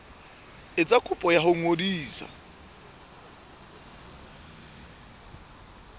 etsa kopo ya ho ngodisa